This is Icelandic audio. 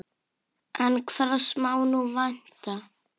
En hvers má nú vænta?